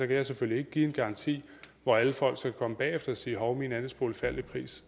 kan jeg selvfølgelig ikke give en garanti hvor alle folk så kan komme bagefter og sige hov min andelsbolig faldt i pris